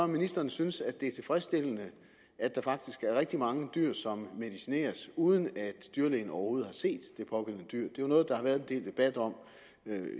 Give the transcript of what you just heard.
ministeren synes det er tilfredsstillende at der faktisk er rigtig mange dyr som medicineres uden at dyrlægen overhovedet har set de pågældende dyr det jo noget der har været en del debat om